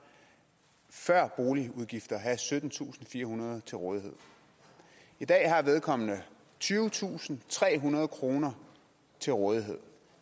før boligudgifter have syttentusinde og firehundrede kroner til rådighed i dag har vedkommende tyvetusinde og trehundrede kroner til rådighed